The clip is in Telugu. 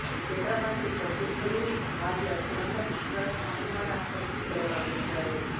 కేంద్రమంత్రి శశిథరూర్ భార్య సునంద పుష్కర్ అనుమానాస్పద స్థితిలో మరణించారు